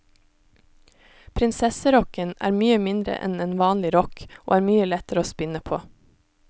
Prinsesserokken er mye mindre enn en vanlig rokk, og er mye lettere å spinne på.